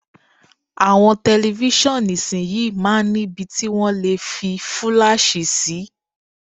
Àwọn tẹlifíṣàn ìsinyìí máa ń ni ibi tí wọ́n lè fi fúláàṣì sí.